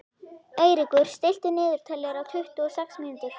Eiríkur, stilltu niðurteljara á tuttugu og sex mínútur.